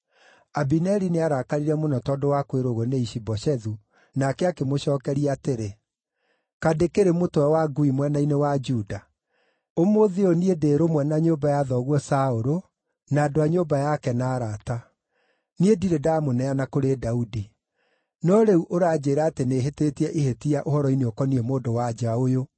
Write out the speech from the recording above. Abineri nĩarakarire mũno tondũ wa kwĩrwo ũguo nĩ Ishi-Boshethu, nake akĩmũcookeria atĩrĩ, “Kaĩ ndĩkĩrĩ mũtwe wa ngui mwena-inĩ wa Juda? Ũmũthĩ ũyũ niĩ ndĩ rũmwe na nyũmba ya thoguo Saũlũ na andũ a nyũmba yake na arata. Niĩ ndirĩ ndaamũneana kũrĩ Daudi. No rĩu ũranjĩĩra atĩ nĩhĩtĩtie ihĩtia ũhoro-inĩ ũkoniĩ mũndũ-wa-nja ũyũ!